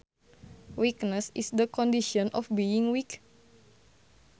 Weakness is the condition of being weak